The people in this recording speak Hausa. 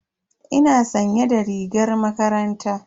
Ina sanye da rigar makaranta.